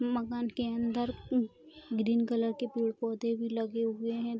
मकान के अंदर उम्ह ग्रीन कलर के पेड़ पौधे भी लगे हुए हैं।